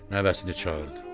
Nəvəsini çağırdı.